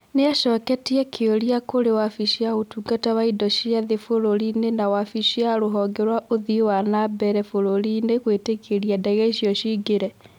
Nĩ acoketie kĩũria kũrĩ wabici ya ũtungata wa Indo cia thĩ bũrũri-inĩ na wabici ya rũhonge rwa ũthii wa na mbere bũrũri-inĩ gwĩtĩkĩria ndege icio ciingĩre